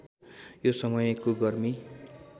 यो समयको गर्मी